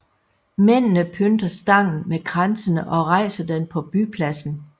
Mændene pynter stangen med kransene og rejser den på bypladsen